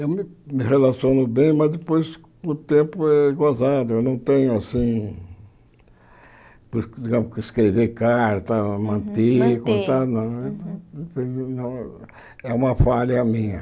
Eu me relaciono bem, mas depois com o tempo é gozado, eu não tenho assim, digamos que escrever carta, manter conta não, é uma falha minha.